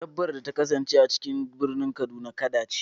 Dabbar da ta kasance a cikin birnin kaduna, kada ce.